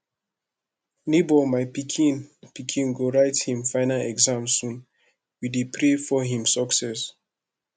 nebor my pikin pikin go write him final exams soon we dey pray for him success